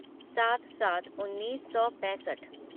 सात सात उन्नीस सौ पैंसठ